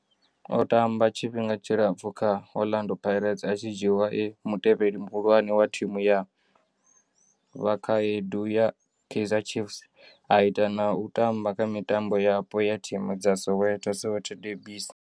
O tamba tshifhinga tshilapfhu kha Orlando Pirates, a tshi dzhiiwa e mutevheli muhulwane wa thimu ya vhakhaedu ya Kaizer Chiefs, a ita na u tamba kha mitambo yapo ya thimu dza Soweto, Soweto derbies.